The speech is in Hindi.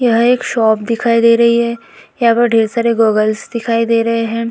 यह एक शॉप दिखाई दे रही है यहाँ पर ढ़ेर सारे गॉगल्स दिखाई दे रहे है।